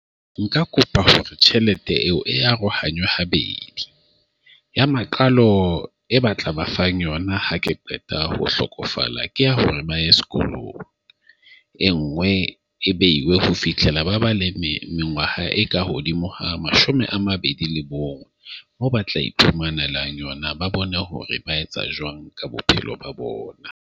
Nka kopa hore tjhelete eo e arohanywe habedi. Ya maqalo e batla ba fang yona ha ke qeta ho hlokofala ke ya hore ba ye sekolong. E nngwe e beiwe ho fihlela ba ba le mengwaha e ka hodimo ha mashome a mabedi le bong bo ba tla iphumanela yona. Ba bone hore ba etsa jwang ka bophelo ba bona.